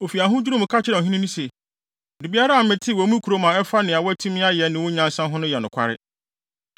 Ofi ahodwiriw mu ka kyerɛɛ ɔhene no se, “Biribiara a metee wɔ me kurom a ɛfa nea woatumi ayɛ ne wo nyansa ho no yɛ nokware.